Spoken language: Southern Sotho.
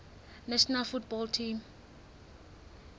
national football team